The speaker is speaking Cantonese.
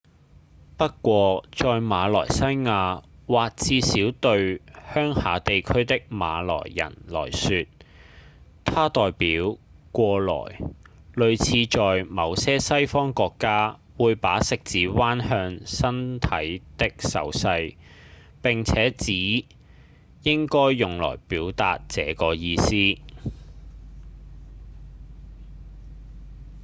不過在馬來西亞或至少對鄉下地區的馬來人來說它代表「過來」類似在某些西方國家會把食指彎向身體的手勢並且只應該用來表達這個意思